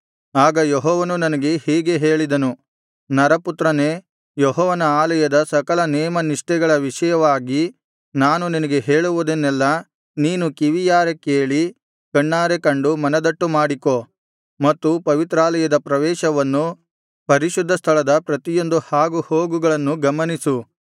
ಆಗ ಯೆಹೋವನು ನನಗೆ ಹೀಗೆ ಹೇಳಿದನು ನರಪುತ್ರನೇ ಯೆಹೋವನ ಆಲಯದ ಸಕಲ ನೇಮನಿಷ್ಠೆಗಳ ವಿಷಯವಾಗಿ ನಾನು ನಿನಗೆ ಹೇಳುವುದನ್ನೆಲ್ಲಾ ನೀನು ಕಿವಿಯಾರೆ ಕೇಳಿ ಕಣ್ಣಾರೆ ಕಂಡು ಮನದಟ್ಟು ಮಾಡಿಕೋ ಮತ್ತು ಪವಿತ್ರಾಲಯದ ಪ್ರವೇಶವನ್ನೂ ಪರಿಶುದ್ಧ ಸ್ಥಳದ ಪ್ರತಿಯೊಂದು ಹಾಗುಹೋಗುಗಳನ್ನೂ ಗಮನಿಸು